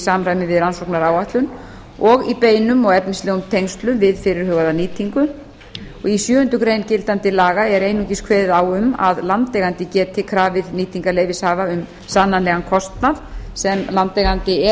samræmi við rannsóknaráætlun og í beinum og efnislegum tengslum við fyrirhugaða nýtingu í sjöundu greinar gildandi laga er einungis kveðið á um að landeigandi geti krafið nýtingarleyfishafa um sannanlegan kostnað sem landeigandi eða